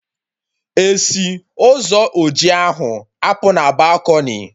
Esi Ụzọ oji ahụ apụ na balkọnị?